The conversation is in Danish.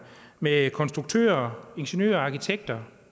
med konstruktører ingeniører og arkitekter